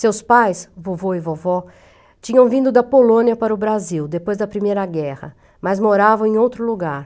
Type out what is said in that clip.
Seus pais, vovô e vovó, tinham vindo da Polônia para o Brasil, depois da Primeira Guerra, mas moravam em outro lugar.